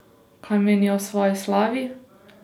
Kaj menijo o svoji slavi?